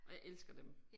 Og jeg elsker dem